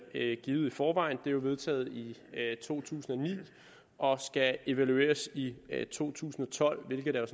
givet i forvejen det er vedtaget i to tusind og ni og skal evalueres i to tusind og tolv hvilket der